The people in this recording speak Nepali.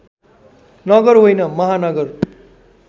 नगर होइन महानगर